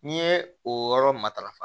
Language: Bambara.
N'i ye o yɔrɔ matarafa